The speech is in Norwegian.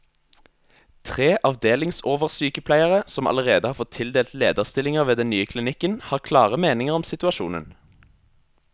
Tre avdelingsoversykepleiere, som allerede har fått tildelt lederstillinger ved den nye klinikken, har klare meninger om situasjonen.